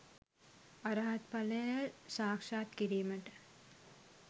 අරහත් ඵලය සාක්ෂාත් කිරීමට